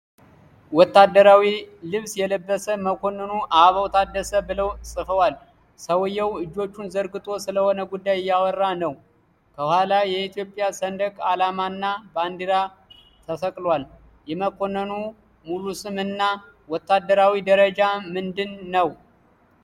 ወታደራዊ ልብስ የለበሰ፣ መኮንኑ አበባው ታደሰ ብለው ጽፈዋል። ሰውዬው እጆቹን ዘርግቶ ስለሆነ ጉዳይ እያወራ ነው። ከኋላ የኢትዮጵያ ሰንደቅ አላማና ባንዲራ ተሰቅለዋል። የመኮንኑ ሙሉ ስም እና ወታደራዊ ደረጃ ምንድን ነው?